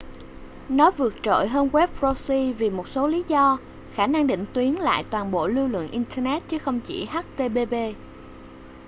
nó vượt trội hơn web proxy vì một số lý do khả năng định tuyến lại toàn bộ lưu lượng internet chứ không chỉ http